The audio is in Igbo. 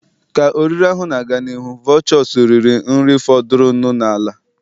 Ka oriri ahụ na-aga n'ihu, vultures riri nri fọdụrụnụ n'ala.